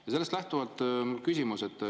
Ja sellest lähtuvalt küsimus.